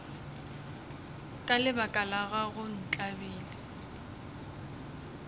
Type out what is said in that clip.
ka lebaka la gago ntlabile